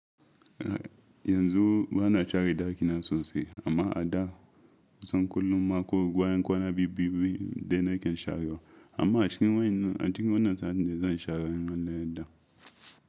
Yanzu bana share ɗakina sosai, amma a da kusan kullum ma ko bayan kwana biyu-biyu dai na ke sharewa. Amma a cikin wannan satin da zan share in Allah ya yarda.